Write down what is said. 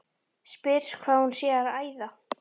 Spyr hvað hún sé að æða.